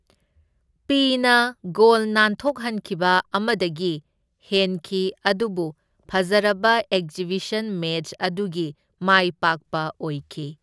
ꯄꯤ꯬ꯅ goal ꯅꯥꯟꯊꯣꯛꯍꯟꯈꯤꯕ ꯑꯃꯗꯒꯤ ꯍꯦꯟꯈꯤ ꯑꯗꯨꯕꯨ ꯐꯖꯔꯕ ꯑꯦꯛꯖꯤꯕꯤꯁꯟ ꯃꯦꯆ ꯑꯗꯨꯒꯤ ꯃꯥꯏꯄꯥꯛꯄ ꯑꯣꯏꯈꯤ꯫